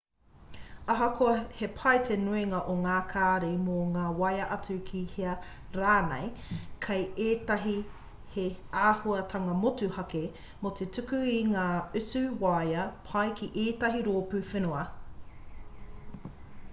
ahakoa he pai te nuinga o ngā kāri mō te waea atu ki hea rānei kei ētahi he āhuatanga motuhake mō te tuku i ngā utu waea pai ki ētahi rōpū whenua